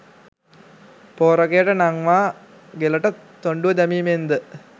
පෝරකයට නංවා ගෙලට තොණ්ඩුව දැමීමෙන්ද